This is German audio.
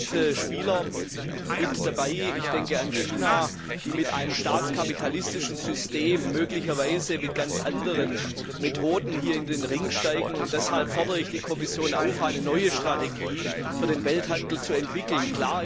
Es sind Spieler mit dabei ich denke an China die mit einem staatskapitalistischen System möglicherweise mit ganz anderen Methoden hier in den Ring steigen, und deshalb fordere ich die Kommission auf, eine neue Strategie für den Welthandel zu entwickeln.